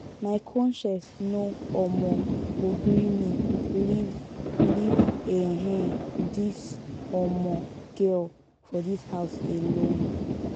my conscience no um go gree me leave leave um dis um girl for dis house alone